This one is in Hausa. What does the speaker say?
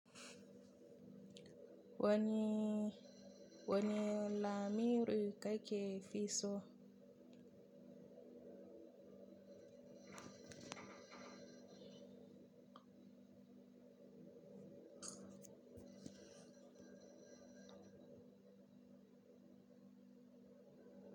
Wani, wani lamiru kake fi so?